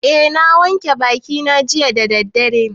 Eh, na wanke bakina jiya da daddare